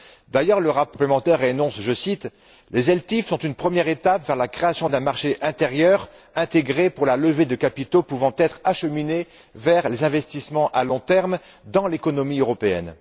D'ailleurs, le rapport complémentaire énonce les ELTIF sont une première étape vers la création d'un marché intérieur intégré pour la levée de capitaux pouvant être acheminés vers les investissements à long terme dans l'économie européenne.